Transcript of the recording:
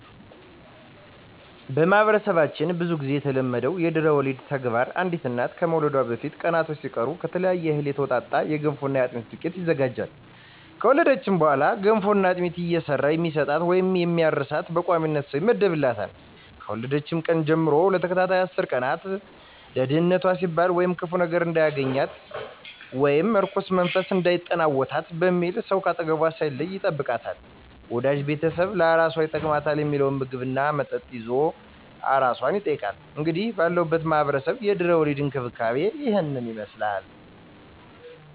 በማህበረሰባችን ብዙ ግዜ የተለመደው የድህረ ወሊድ ተግባር አንዲት እናት ከመውለዷ በፊት ቀናቶች ሲቀሩ ከተለያየ እህል የተውጣጣ የገንፎና የአጥሚት ዱቄት ይዘጋጃል። ከወለደች በኋላ ገንፎና አጥሚት እየሰራ የሚሰጣት ወይም የሚያርስ በቋሚነት ሰው ይመደብላታል፣ ከወለደችበት ቀን ጀም ለተከታታይ አስር ቀን ለደንነቷ ሲባል ወይም ክፉ ነገር እንዳያገኛት(እርኩስ መንፈስ እንዳይጠናወታት) በሚል ሰው ከአጠገቧ ሳይለይ ይጠብቃታል፣ ወዳጅ ቤተሰብ ለአራሷ ይጠቅማል ሚለውን ምግብ እና መጠጥ ይዞ አራሷን ይጠይቃል። እንግዲህ ባለሁበት ማህበረሰብ የድህረ ወሊድ እንክብካቤ እሂን ይመስላል።